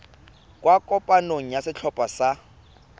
kwa kopanong ya setlhopha sa